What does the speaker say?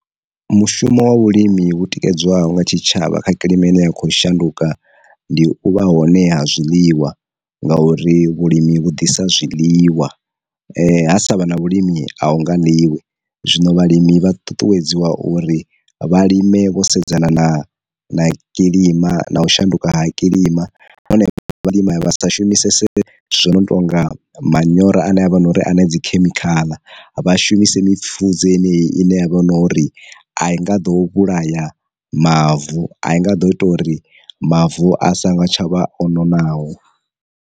Mu shumo wa vhulimi vhu tikedzwaho nga tshitshavha kha kilima ine ya kho shanduka ndi u vha hone ha zwiḽiwa, nga uri vhulimi vhudisa zwiḽiwa, ha sa vha na vhulimi a hu nga ḽiwi, zwino vhalimi vha ṱuṱuwedziwa uri vha lime vho sedzana na na kilima na u shanduka ha kilima na hone vha vha lima ya vha sa shumisese zwo no tonga manyoro a ne a vha na uri ane dzikhemikhala vha shumise mipfudze yeneyi ine ya vha hu no uri a i nga ḓo vhulaya mavu a i nga ḓo ita uri mavu a songo tsha vha o nonaho.